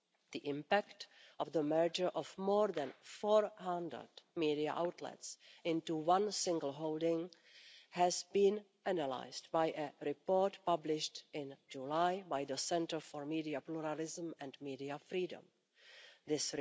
The impact of the merger of more than 400 media outlets into one single holding has been analysed by a report published in July by the Centre for Media Pluralism and Media Freedom This